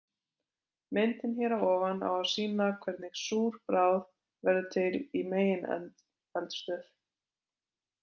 Myndin hér að ofan á að sýna hvernig súr bráð verður til í megineldstöð.